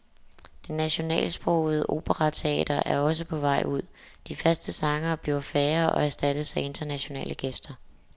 Det nationalsprogede operateater er også på vej ud, de faste sangere bliver færre og erstattes af internationale gæster.